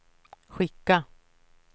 skicka